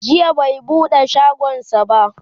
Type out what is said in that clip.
jiya bai buɗe shagonsa ba